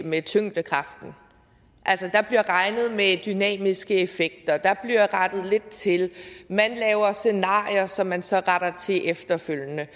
med tyngdekraften altså der bliver regnet med dynamiske effekter der bliver rettet lidt til man laver scenarier som man så retter til efterfølgende